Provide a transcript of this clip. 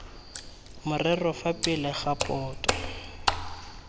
morero fa pele ga boto